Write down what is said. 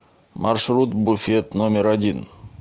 маршрут буфет номер один